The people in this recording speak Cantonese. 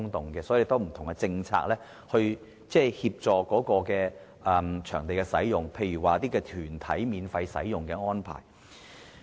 所以，要有不同政策以處理場地的使用，例如團體免費使用的安排。